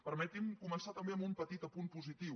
permetin me començar també amb un petit apunt positiu